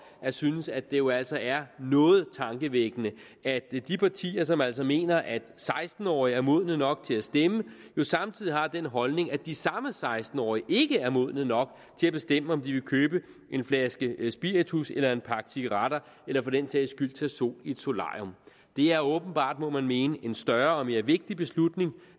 at synes at det jo altså er noget tankevækkende at de partier som altså mener at seksten årige er modne nok til at stemme samtidig har den holdning at de samme seksten årige ikke er modne nok til at bestemme om de vil købe en flaske spiritus eller en pakke cigaretter eller for den sags skyld tage sol i et solarium det er åbenbart må man mene en større og mere vigtig beslutning